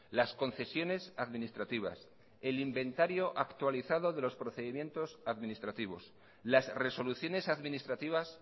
las concesiones administrativas el inventario actualizado de los procedimientos administrativos las resoluciones administrativas